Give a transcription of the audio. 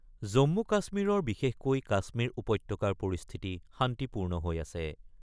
জম্মু-কাশ্মীৰৰ বিশেষকৈ কাশ্মীৰ উপত্যকাৰ পৰিস্থিতি শান্তিপূৰ্ণ হৈ আছে।